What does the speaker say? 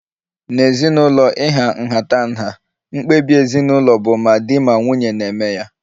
N'ezinụlọ ịha nhatanha, mkpebi ezinụlọ bu ma di ma nwunye na-eme ya